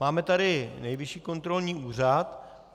Máme tady Nejvyšší kontrolní úřad.